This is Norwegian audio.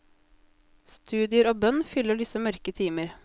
Studier og bønn fyller disse mørke timer.